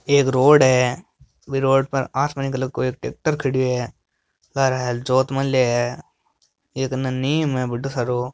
एक रोड है B road पर आसमानी कलर को एक ट्रेक्टर खड़यो है लारे हल जोत मेल्या है एक अने नीम है बढ़ो सारो।